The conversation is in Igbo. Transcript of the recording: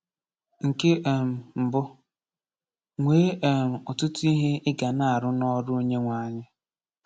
Nke um mbụ: Nwee um ‘ọtụtụ ihe ị ga na-arụ n’ọrụ Onyenweanyị’